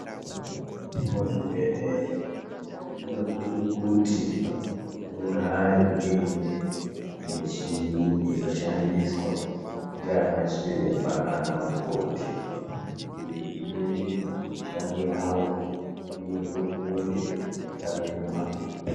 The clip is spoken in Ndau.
Muzvibhedhlera munosise kuti mugare muine mishini inoshandiswa ndianachiremba naanamukoti. Izvi zvinoite kuti mishando yavo ienderere mberi, isaema.